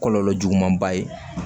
Kɔlɔlɔ juguman ba ye